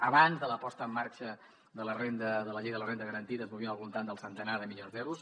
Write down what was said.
abans de la posada en marxa de la llei de la renda garantida ens movíem al voltant del centenar de milions d’euros